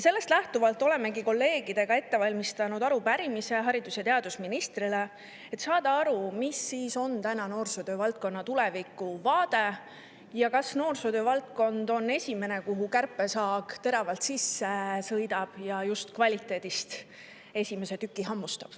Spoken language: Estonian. Sellest lähtuvalt olemegi kolleegidega ette valmistanud arupärimise haridus‑ ja teadusministrile, et teada saada, milline on noorsootöö tulevik ning kas noorsootöö on esimene valdkond, kuhu kärpesaag teravalt sisse sõidab ja just kvaliteedist esimese tüki hammustab.